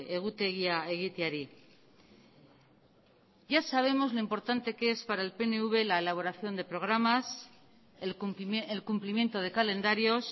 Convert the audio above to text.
egutegia egiteari ya sabemos lo importante que es para el pnv la elaboración de programas el cumplimiento de calendarios